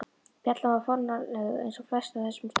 Bjallan var fornfáleg eins og flest á þessum stað.